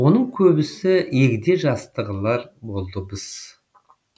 оның көбісі егде жастығылар болды мыс